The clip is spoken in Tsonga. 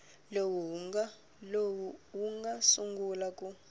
lowu wu nga sungula ku